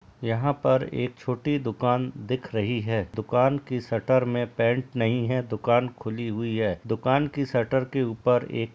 यहाँ पर एक छोटी दुकान दिख रही है दुकान की शटर में पेन्ट नहीं है दुकान खुली हुई है दुकान की शटर के ऊपर एक --